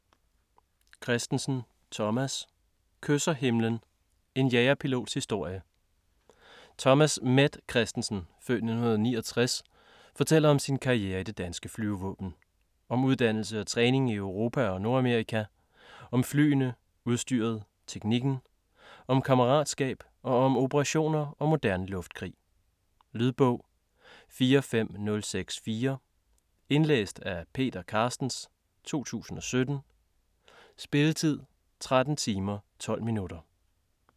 Kristensen, Thomas: Kysser himlen: en jagerpilots historie Thomas "Met" Kristensen (f. 1969) fortæller om sin karriere i det danske flyvevåben. Om uddannelse og træning i Europa og Nordamerika, om flyene, udstyret, teknikken. Om kammeratskab, og om operationer og moderne luftkrig. Lydbog 45064 Indlæst af Peter Carstens, 2017. Spilletid: 13 timer, 12 minutter.